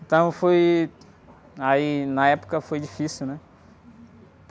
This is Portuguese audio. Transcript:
Então foi... Aí, na época, foi difícil, né?